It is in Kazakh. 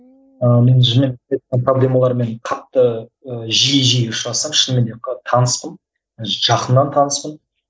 проблемалармен қатты ы жиі жиі ұшырасам шынымен де таныспын жақыннан таныспын